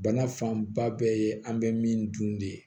Bana fanba bɛɛ ye an bɛ min dun de ye